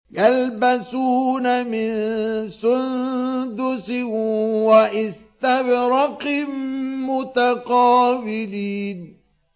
يَلْبَسُونَ مِن سُندُسٍ وَإِسْتَبْرَقٍ مُّتَقَابِلِينَ